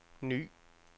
ny